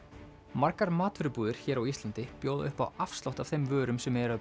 margar matvörubúðir hér á Íslandi bjóða upp á afslátt af þeim vörur sem eru